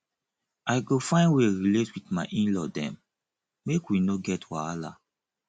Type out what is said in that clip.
i go find wey relate wit my in law dem make we no get wahala